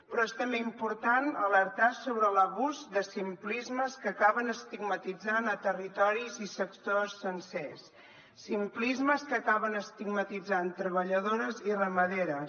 però és també important alertar sobre l’abús de simplismes que acaben estigmatitzant territoris i sectors sencers simplismes que acaben estigmatitzant treballadores i ramaderes